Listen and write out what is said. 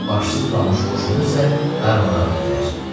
Başsız qalmış qoşunu isə darmadağın edirlər.